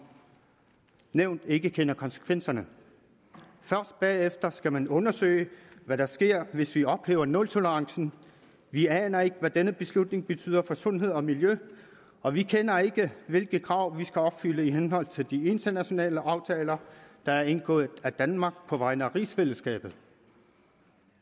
nævnt ikke kender konsekvenserne af først bagefter skal man undersøge hvad der sker hvis vi ophæver nultolerancen vi aner ikke hvad denne beslutning betyder for sundhed og miljø og vi kender ikke til hvilke krav vi skal opfylde i henhold til de internationale aftaler der er indgået af danmark på vegne af rigsfællesskabet